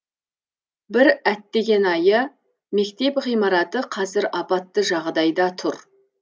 бір әттеген айы мектеп ғимараты қазір апатты жағдайда тұр